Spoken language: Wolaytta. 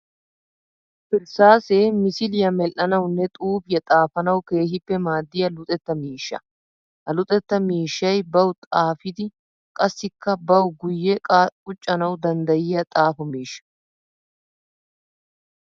Irssaase misiliya medhdhanawunne xuufiya xaafanawu keehippe maadiya luxetta miishsha. Ha luxetta miishshay bawu xaafiddi qassikka bawu guye quccanawu danddayiya xaafo miishsha.